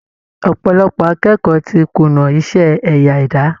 Ọ̀pọ̀lọpọ̀ akẹ́kọ̀ọ́ ti kùnà iṣẹ́ ẹ̀yà ẹ̀dá